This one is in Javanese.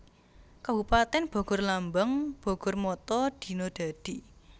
Kabupatèn BogorLambang BogorMotto Dina Dadi